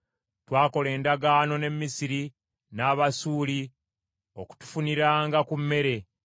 Twakola endagaano ne Misiri n’Abasuuli okutufuniranga ku mmere.